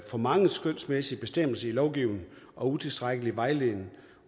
for mange skønsmæssige bestemmelser i lovgivningen og utilstrækkelig vejledning